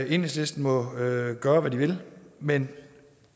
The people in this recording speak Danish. enhedslisten må gøre hvad de vil men